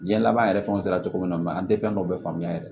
Jiyɛn laban yɛrɛ fɛnw sera cogo min na an tɛ fɛn dɔw bɛ faamuya yɛrɛ